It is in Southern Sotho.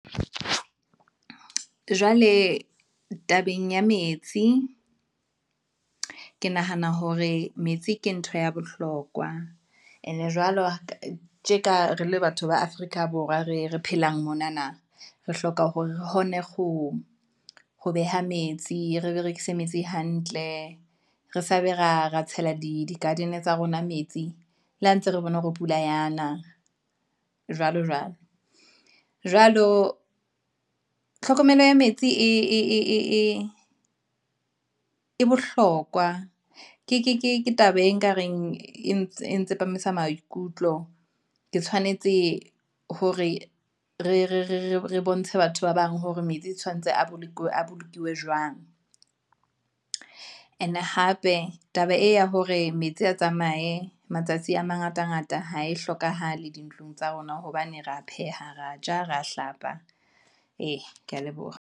Jwale, tabeng ya metsi, ke nahana hore metsi ke ntho ya bohlokwa, ene jwalo ka tjeka re le batho ba Afrika Borwa, re phelang monana, re hloka hore re hone ho beha metsi, re berekise metsi hantle, re sa be ra tshela di garden tsa rona metsi, le ha ntse re bone hore pula yana jwalo jwalo. Jwalo tlhokomelo ya metsi e bohlokwa, ke taba e nka reng e tsepamisa maikutlo. Ke tshwanetse hore re bontshe batho ba bang hore metsi e tshwanetse a bolokilwe jwang, and hape taba e ya hore metsi a tsamaye matsatsi a mangata ngata ha e hlokahale dintlong tsa rona. Hobane ra phehang, ra ja, ra hlapa, ee, ke ya leboha.